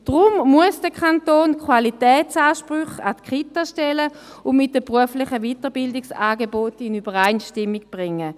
Deswegen muss der Kanton Qualitätsansprüche an die Kitas stellen und mit den beruflichen Weiterbildungsangeboten in Übereinstimmung bringen.